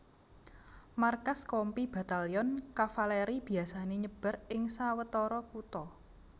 Markas Kompi Batalyon Kavaleri biasané nyebar ing sawetara kutha